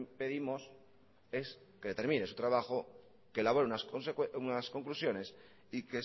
pedimos es que determine su trabajo que elabore unas conclusiones y